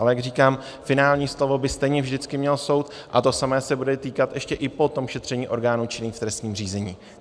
Ale jak říkám, finální slovo by stejně vždycky měl soud a to samé se bude týkat ještě i po tom šetření orgánů činných v trestním řízení.